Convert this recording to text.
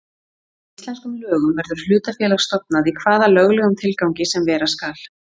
Samkvæmt íslenskum lögum verður hlutafélag stofnað í hvaða löglegum tilgangi sem vera skal.